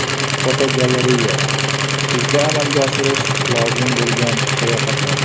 Fotogalereya: Kuzda amalga oshirish lozim bo‘lgan sayohatlar.